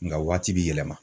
Nka waati bi yɛlɛma